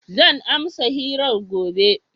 Zan amsa hirar gobe.